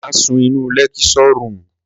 Mà sún nu lẹkísọ rúmù!